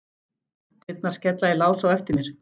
Dyrnar skella í lás á eftir mér.